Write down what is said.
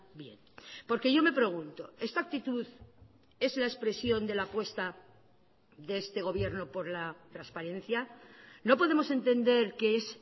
bien porque yo me pregunto esta actitud es la expresión de la apuesta de este gobierno por la transparencia no podemos entender que es